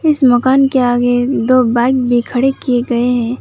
इस मकान के आगे दो बाइक भी खड़े किए गए हैं।